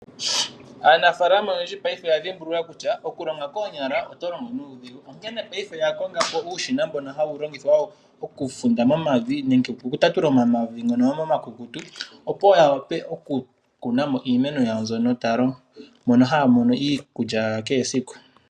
Aanafalama oyendji paife oya dhimbulula kutya okulonga koonyala oto longo nuudhigu. Onkene oya konga uushina mbono hawu longithwa okufunda momavi nenge okutatula momavi ngoka omakukutu, opo ya wape oku kunamo iimeno yawo mbyono haya mono iikulya ya kehe esiku.